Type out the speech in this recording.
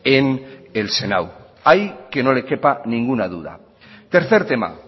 en el senado ahí que no le quepa ninguna duda tercer tema